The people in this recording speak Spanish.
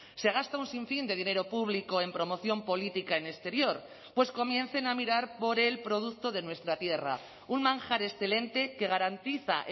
se gasta un sinfín de dinero público en promoción política en exterior pues comiencen a mirar por el producto de nuestra tierra un manjar excelente que garantiza